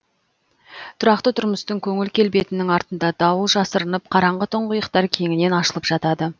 тұрақты тұрмыстың көңіл келбетінің артында дауыл жасырынып қараңғы тұңғиықтар кеңінен ашылып жатады